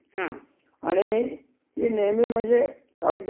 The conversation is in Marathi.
हां. हा. आता दुसर एक अनपेक्षित म्हणजे अस, हा.